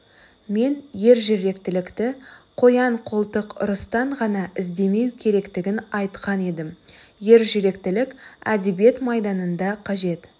мен ержүректілікті қоян-қолтық ұрыстан ғана іздемеу керектігін айтқан едім ержүректілік әдебиет майданында да қажет